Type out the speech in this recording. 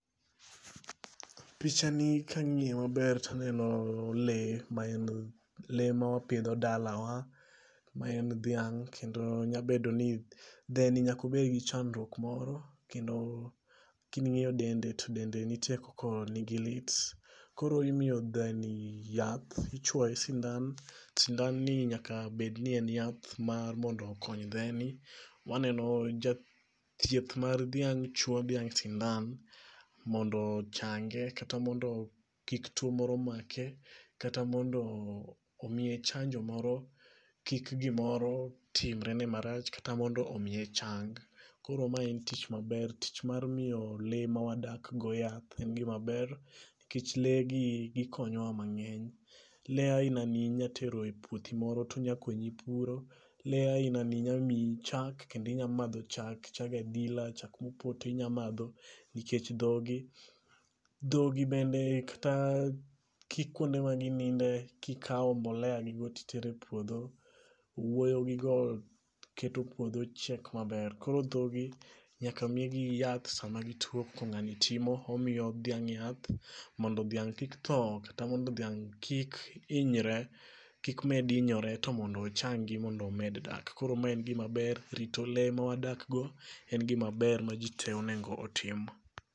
Picha ni ka ng'iyo maber to aneno le. Le ma wapidho dala wa. Ma en dhiang'. Kendo nyabedo ni dhe ni nyakobed gi chandruok moro. Kendo king'iyo dende to dende nitie koko ni gi lit. Koro imiyo dhe ni yath. Ichwoye sindan. Sindan ni nyaka bed ni en yath mar mondo okony dhe ni. Waneno ja thieth mar dhiang' chwo dhiang' sindan mondo ochange kata mondo kik tuo moro make. Kata mondo omiye chanjo moro kik gimoro timre ne marach kata mondo omiye chang. Koro ma en tich maber. Tich mar miyo le ma wadak go yath en gima ber nikech le gi gikonyowa mang'eny. Le aina ni inyatero e puothi moro to onyakonyi puro. Le aina ni nya miyi chak kendo inya madho chak. Chak adila, chak mopoto inya madho nikech dhogi. Dhogi bende kata kikwonde ma gininde kikaw mbolea gi go titere e puodho. Owuoyo gi go kiketo puodho chiek maber. Koro dho gi nyaka migi yath sama gituo koko ng'ani timo. Omiyo dhiang' yath mondo dhiang' kik tho. Kata mondo dhiang' kik hinyre kik med hinyore to mondo ochangi mondo omed dak. Koro ma en gima ber rito le ma wadakgo en gima ber ma ji te onego otim.